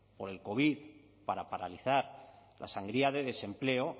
por el covid para paralizar la sangría de desempleo